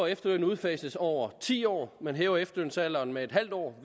at efterlønnen udfases over ti år at man hæver efterlønsalderen med en halv år